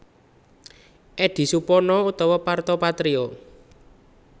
Eddy Supono utawa Parto Patrio